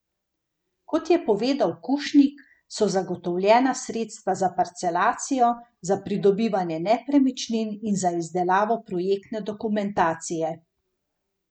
Kot je povedal Kušnik, so zagotovljena sredstva za parcelacijo, za pridobivanje nepremičnin in za izdelavo projektne dokumentacije.